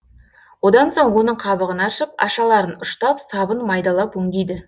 одан соң оның қабығын аршып ашаларын ұштап сабын майдалап өңдейді